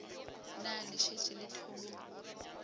na le šetše le thomile